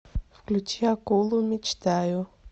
включи акулу мечтаю